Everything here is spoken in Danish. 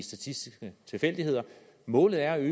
statistiske tilfældigheder målet er